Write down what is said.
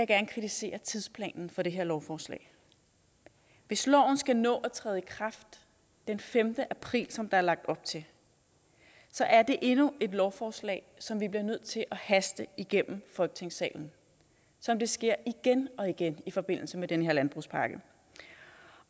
gerne kritisere tidsplanen for det her lovforslag hvis loven skal nå at træde i kraft den femte april som der er lagt op til så er det endnu et lovforslag som vi bliver nødt til at haste igennem folketingssalen som det sker igen og igen i forbindelse med den her landbrugspakke